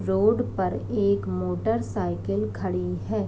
Road पर एक motorcycle खड़ी है।